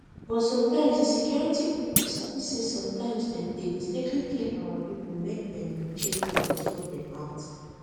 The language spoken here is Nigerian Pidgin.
but make di security pipo sabi say sometimes dem dey mistakenly kill our pipo make dem dey check well befor dem act